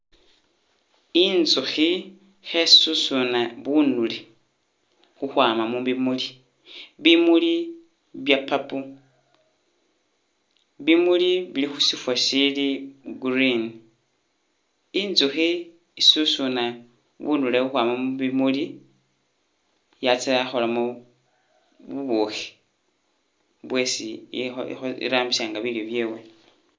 Inzuhi khesusuna bunule khukhwama mu bimuli, bimuli bya purple, bimuli bili khusifa sili green, inzuhi isusuna bunule khukhwama mu bimuli yatsya yakholamo bubukhi bwesi iho iho irambisa nga bilyo byewe